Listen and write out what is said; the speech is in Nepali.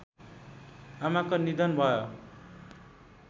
आमाको निधन भयो